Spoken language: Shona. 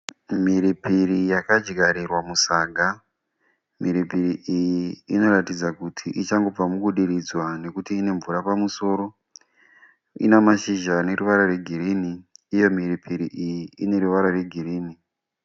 Mhiripiri yakadyarirwa musaga, mhiripiri iyi inoratidza kuti ichangobva mukudiridzwa nokuti ine mvura pamusoro ina mashizha ane ruvara rwegirini uye mhiripiri iyi ine ruvara rwegirini.